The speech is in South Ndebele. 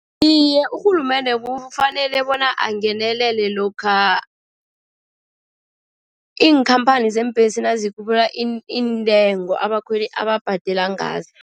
Iye, urhulumende kufanele bona angenelele lokha iinkhamphani zeembhesi nazikhuphula iintengo abakhweli ababhadela ngazo.